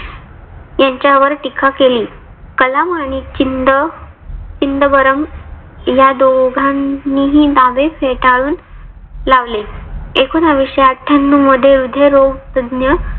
यांच्यावर टीका केली. कलाम आणि चिंद चिंदवरम या दोघांनीही दावे फेटाळून लावले. एकोनाविशे आठ्यानंव मध्ये हृदयरोग तज्ञ